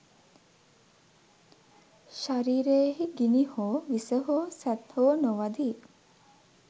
ශරීරයෙහි ගිනි හෝ, විස හෝ, සැත් හෝ නොවදියි.